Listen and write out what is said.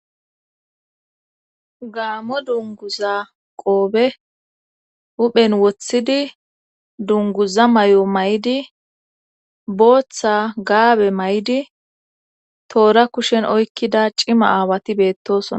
gaamo dunguza qoobe huphen woththidi dunguza may7o may7di booththa gaabe may7idi toora kushen oykkida cima aawati beettosona